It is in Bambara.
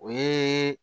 O ye